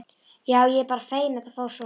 Já, ég er bara feginn að þetta fór svona.